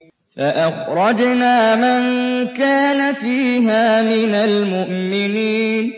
فَأَخْرَجْنَا مَن كَانَ فِيهَا مِنَ الْمُؤْمِنِينَ